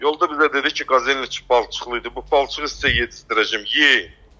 Yolda bizə dedi ki, Qazelin içi palçıqlı idi, bu palçığı sizə yedizdirəcəm, yeyin.